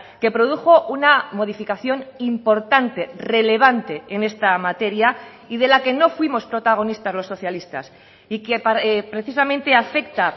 que produjo una modificación importante relevante en esta materia y de la que no fuimos protagonistas los socialistas y que precisamente afecta